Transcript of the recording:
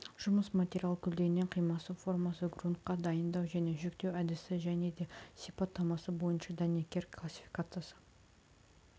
жұмыс материал көлденең қимасы формасы грунтқа дайындау және жүктеу әдісі және де сипаттамасы бойынша дәнекер классификациясы